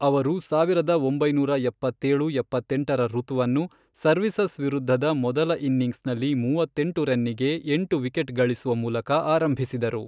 ಅವರು ಸಾವಿರದ ಒಂಬೈನೂರ ಎಪ್ಪತ್ತೇಳು ಎಪ್ಪತ್ತೆಂಟರ ಋತುವನ್ನು ಸರ್ವಿಸಸ್ ವಿರುದ್ಧದ ಮೊದಲ ಇನ್ನಿಂಗ್ಸ್ನಲ್ಲಿ ಮೂವತ್ತೆಂಟು ರನ್ನಿಗೆ ಎಂಟು ವಿಕೆಟ್ ಗಳಿಸುವ ಮೂಲಕ ಆರಂಭಿಸಿದರು.